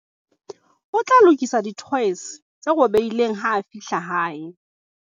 o tla lokisa dithoese tse robehileng ha a fihla hae